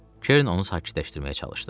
Kern onu sakitləşdirməyə çalışdı.